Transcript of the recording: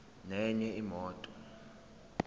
nenye imoto